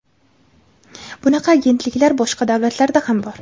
Bunaqa agentliklar boshqa davlatlarda ham bor.